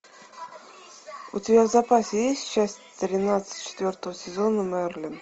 у тебя в запасе есть часть тринадцать четвертого сезона мерлин